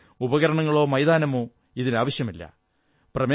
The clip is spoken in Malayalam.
വിശേഷിച്ച് ഉപകരണങ്ങളോ മൈതാനമോ ഇതിനാവശ്യമില്ല